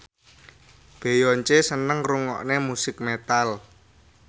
Beyonce seneng ngrungokne musik metal